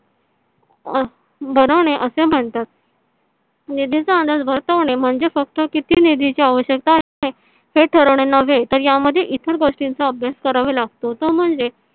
अं बनवणे असे म्हणतात. निधीचा अंदाज बसवणे म्हणजे फक्त कीती निधीचा आवश्यकता असते हे ठरवणे नव्हे तर या मध्ये इतर गोष्टी चा अभ्यास करावा लागतो तो म्हणजे